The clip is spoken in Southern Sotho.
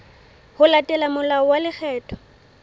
ho latela molao wa lekgetho